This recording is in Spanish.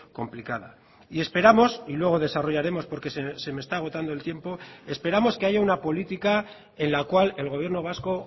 complicada y esperamos y luego desarrollaremos porque se me está agotando el tiempo esperamos que haya una política en la cual el gobierno vasco